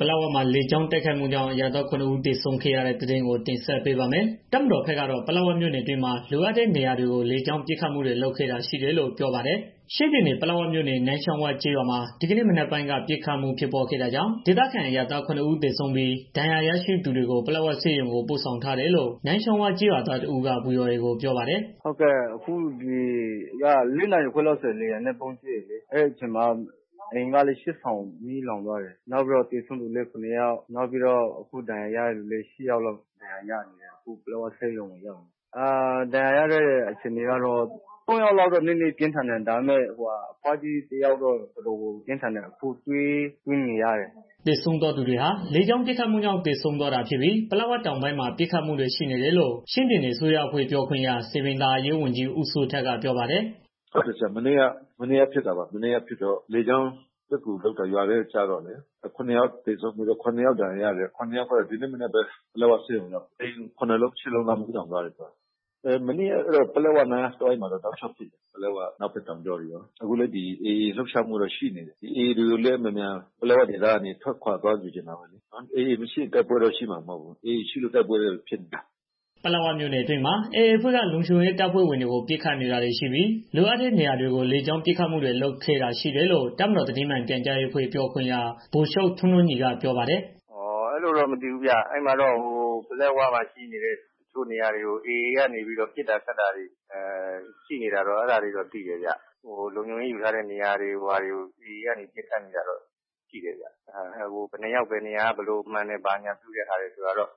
ပလက်ဝမှာ လေကြောင်းတိုက်ခိုက်မှုကြောင့် အရပ်သား ခုနစ် ဦးသေဆုံးခဲ့ရတဲ့ သတင်းကို တင်ဆက်ပေးပါမယ်။ တပ်မတော်ဘက်ကတော့ ပလက်ဝမြို့နယ်အတွင်းမှာ လိုအပ်တဲ့နေရာတွေကို လေကြောင်းပစ်ခတ်မှုတွေ လုပ်ခဲ့တာရှိတယ်လို့ ပြောပါတယ်။ ဗွီအိုအေ မြန်မာပိုင်းသတင်းထောက် ကိုသက်နိုင် သတင်းပေးပို့ထားပါတယ်။ ချင်းပြည်နယ် ပလက်ဝမြို့နယ် နန်းချောင်းဝကျေးရွာမှာ ဒီကနေ့ မနက်ပိုင်းက ပစ်ခတ်မှုဖြစ်ပွားခဲ့တာကြောင့် ဒေသခံ အရပ်သား ခုနစ်ဦးသေဆုံးပြီး ဒဏ်ရာ ရရှိသွားသူတွေကို ပလက်ဝဆေးရုံကို ပို့ဆောင်ထားတယ်လို့ နန်းချောင်းဝ ကျေးရွာသား တစ်ဦးက ဗွီအိုအေကို ပြောပါတယ်။ "ဒီနေ့မနက်က ၄ နာရီခွဲလောက်ဆိုရင်လေယာဉ်နဲ့ ဗုံးကြဲတယ်လေ နေအိမ်က ရှစ် ဆောင်မီးလောင်သွားတယ်။ နောက်ပြီးတော့ သေဆုံးသူလည်း ခုနစ် ယောက်ရှိတယ်။ အခုဒဏ်ရာရတဲ့ သူလည်း ရှစ်ယောက်လောက်ရှိတယ်။ ပလက်ဝဆေးရုံကို ရောက်နေတယ်။ ဒဏ်ရာရတဲ့ သူတွေထဲမှာလည်း သုံးယောက်လောက်ကတော့ ပြင်းထန်တယ်။ အဘွားကြီးတစ်ယောက်ကတော့တော်တော် ပြင်းထန်တယ်။ အခုသွေးသွင်းနေရတယ်။" သေဆုံးသွားသူတွေဟာ လေကြောင်းပစ်ခတ်မှုကြောင့် သေဆုံးသွားတာဖြစ်ပြီး ပလက်ဝတောင်ပိုင်းမှာပစ်ခတ်မှုတွေ ရှိနေတယ်လို့ ချင်းပြည်နယ် အစိုးရအဖွဲ့ ပြောခွင့်ရ စည်ပင်သာယာရေးဝန်ကြီး ဦးစိုးထက်က ပြောပါ တယ်။ "မနေ့က ဖြစ်တာ လေကြောင်းပစ်ကူလုပ်တော့ ရွာထဲကို ကျတော့လေ ၇ယောက်သေဆုံးပြီးတော့ ခုနစ်ယောက်ဒဏ် ရာရတယ်။ ရှစ်ယောက်ကတော့ ဒီနေ့မနက်ကပဲ ပလက်ဝဆေးရုံကိုရောက်တယ် နေအိမ်တွေလည်း မီးလောင် သွားတယ်။ မနေ့ကတော့ အဲဒီပလက်ဝနားတစ်ဝိုက်မှာတော့ တစ်ချိန်လုံးပစ်နေတာရှိတယ်။ အနောက်ဘက်တောင်ကြောတွေရော AA လုပ်ရှားမှုတွေတော့ ရှိနေတယ်။ AA တွေကိုလည်း မြန်မြန် ပလက်ဝဒေသက ထွက်ခွာသွားချင်တယ်။ AA မရှိရင် တိုက်ပွဲတော့ ရှိမှာမဟုတ်ဘူး။ AA ရှိလို့ တိုက်ပွဲရှိနေတာ။" ပလက်ဝမြို့နယ်အတွင်းမှာ AA အဖွဲ့က လုံခြုံရေး တပ်ဖွဲ့ဝင်တွေကို ပစ်ခတ်နေတာတွေ ရှိပြီး လိုအပ်တဲ့ နေရာတွေကို လေကြောင်း ပစ်ခတ်မှုတွေ လုပ်ခဲ့တာရှိတယ်လို့ တပ်မတော်သတင်းမှန်ပြန်ကြားရေးအဖွဲ့ ပြောခွင့်ရ ဗိုလ်ချုပ်ထွန်းထွန်းညီက ပြောပါတယ်။ "အဲလိုတော့ မသိဘူးဗျာ ပလက်ဝမှာရှိနေတဲ့ တစ်ချို့နေရာတွေကို AA နေပြီးတော့ ပစ်တာခတ်တာတွေ ရှိနေတာတော့ ရှိတယ်။ လုံခြုံရေး ယူထားတဲ့ နေရာတွေကို AA က နေပြီးတော့ ပစ်နေတာတော့ရှိတယ်ဗျာ။ ဘယ်နှစ်ယောက် ဘယ်နေရာမှန်တယ်ဆိုတာတော့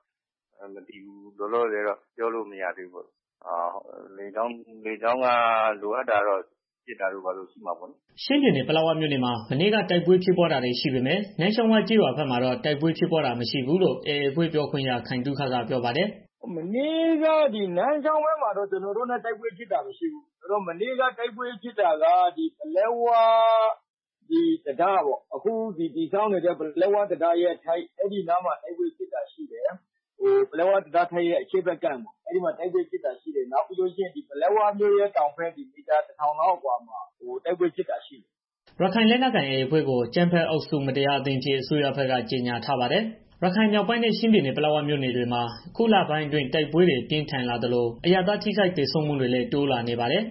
မသိဘူးလောလောဆယ်တော့ ပြောလို့မရသေးဘူး။ လေကြောင်းပစ်ခတ်မှုတွေ လိုအပ်တာတော့ ရှိမှာပေါ့နော်။" ချင်းပြည်နယ် ပလက်ဝမြို့နယ်မှာ မနေ့က တိုက်ပွဲဖြစ်ပွားတာတွေ ရှိပေမဲ့ နန်းချောင်းဝကျေးရွာဘက်မှာတော့ တိုက်ပွဲဖြစ်ပွားတာ မရှိဘူးလို့ AA အဖွဲ့ပြောခွင့်ရ ခိုင်သုခက ပြောပါတယ်။ "မနေ့က နန်းချောင်းဝဘက်မှာတော့ ကျနော်တို့နဲ့ တိုက်ပွဲဖြစ်တာ မရှိဘူး။ မနေ့က တိုက်ပွဲဖြစ်တာက ပလက်ဝ အခုဆောက်နေတဲ့ ပလက်ဝ တံတားထိပ် အဲဒီနားမှာ တိုက်ပွဲဖြစ်တာရှိတယ်။ ပြီးတော့ ပလက်ဝမြို့ရဲ့ တောင်ဘက် မီးတာ ၁,၀၀၀ လောက် အကွာမှာ တိုက်ပွဲဖြစ်တာရှိတယ်။" ရခိုင်လက်နက်ကိုင် AA အဖွဲ့ကို အကြမ်းဖက်အုပ်စု မတရားအသင်းအဖြစ် အစိုးရဘက်က ကြေငြာထားပါတယ်။ ရခိုင်မြောက်ပိုင်းနဲ့ ချင်းပြည်နယ် ပလက်မြို့နယ်ဘက်တွေမှာ အခုလပိုင်းအတွင်း တိုက်ပွဲတွေ ပို ပြင်းထန်လာသလို အရပ်သား ထိခိုက်သေဆုံးမှုတွေလည်း တိုးလာနေပါတယ်